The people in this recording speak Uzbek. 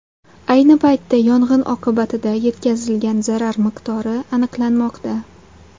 Ayni paytda yong‘in oqibatida yetkazilgan zarar miqdori aniqlanmoqda.